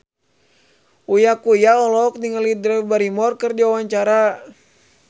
Uya Kuya olohok ningali Drew Barrymore keur diwawancara